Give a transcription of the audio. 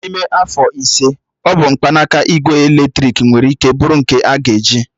N'ime afọ ise, ọ bụ mkpanaka igwe eletrik nwere ike bụrụ nke a ga-eji.